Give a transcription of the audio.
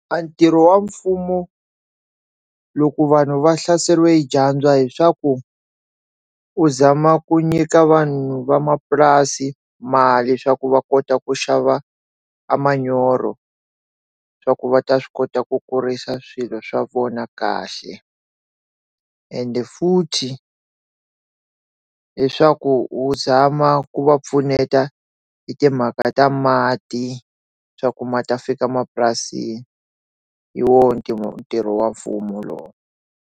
A ntirho wa mfumo loko vanhu va hlaseriwi hi dyandza leswaku u zama ku nyika vanhu vamapurasi mali leswaku va kota ku xava a manyoro swa ku va ta swi kota ku kurisa swilo swa vona kahle ende futhi leswaku u tshama ku va pfuneta hi timhaka ta mati swa ku ma ta fika mapurasini wo ntirho wa mfumo lowu.